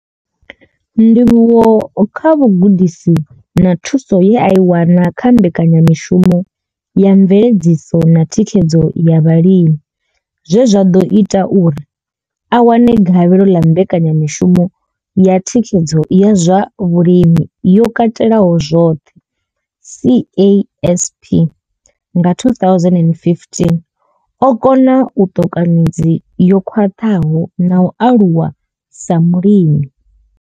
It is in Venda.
Ndivhuwo kha vhugudisi na thuso ye a i wana kha Mbekanya mishumo ya mveledziso na thikhedzo ya vhalimi zwe zwa ḓo ita uri a wane gavhelo ḽa mbekanya mishumo ya thikhedzo ya zwa vhulimi yo katelaho zwoṱhe, CASP, nga 2015, o kona u ṱoka midzi yo khwaṱhaho na u aluwa sa mulimi.